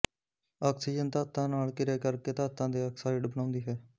oxygen ਧਾਤਾਂ ਨਾਲ ਕਿਰਿਆ ਕਰ ਕੇ ਧਾਤਾਂ ਦੇ ਆਕਸਾਈਡ ਬਣਾਉਂਦੀ ਹੈ